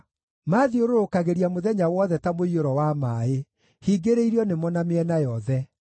Maathiũrũrũkagĩria mũthenya wothe ta mũiyũro wa maaĩ; hingĩrĩirio nĩmo na mĩena yothe.